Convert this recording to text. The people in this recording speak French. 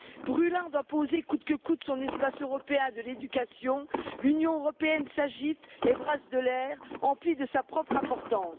Brûlant d'imposer coûte que coûte son espace européen de l'éducation, l'Union européenne s'agite et brasse de l'air, emplie de sa propre importance.